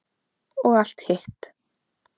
Og allt hitt.